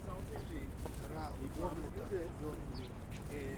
игра борнмута с бернли